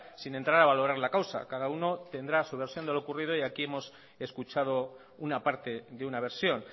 sin entrar a valorar la causa cada uno tendrá su versión de lo ocurrido y aquí hemos escuchado una parte de una versión